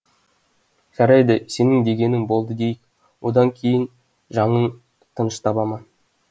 жарайды сенің дегенің болды дейік одан кейін жаңың тыныш таба ма